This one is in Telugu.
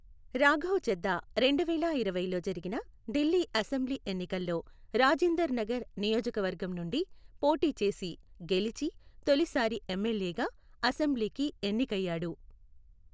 రాఘవ్ చద్దా రెండువేల ఇరవై లో జరిగిన ఢిల్లీ అసెంబ్లీ ఎన్నికల్లో రాజిందర్ నగర్ నియోజకవర్గం నుండి పోటీ చేసి గెలిచి తొలిసారి ఎమ్మెల్యేగా అసెంబ్లీకి ఎన్నికయ్యాడు.